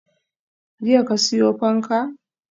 Jiya ka siyo fanka?